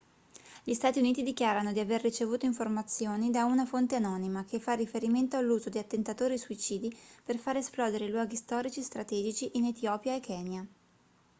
gli stati uniti dichiarano di aver ricevuto informazioni da una fonte anonima che fa riferimento all'uso di attentatori suicidi per far esplodere i luoghi storici strategici in etiopia e kenya